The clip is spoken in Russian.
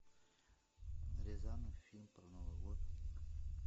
рязанов фильм про новый год